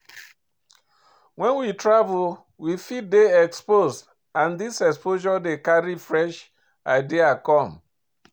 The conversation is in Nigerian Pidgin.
When we travel we fit dey exposed and this exposure dey carry fresh idea come